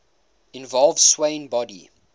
involve swaying body